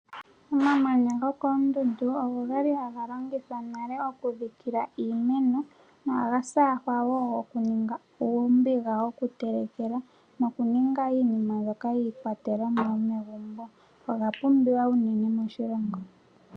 Omamanya gokoondundu ogo ga li haga longithwa monale okudhikila iimeno nohaga saahwa wo okuninga oombiga dhokutelekela nokuninga iinima mbyoka yiikwatelwa yomegumbo. Oga pumbiwa unene moshilongo.